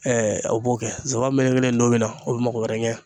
aw b'o kɛ zaban melekelen tonmi na o bi mago wɛrɛ ɲa